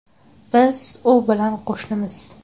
Biz u bilan qo‘shnimiz.